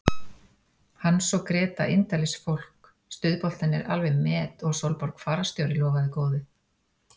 Hans og Gréta indælisfólk, stuðboltarnir alveg met og Sólborg fararstjóri lofaði góðu.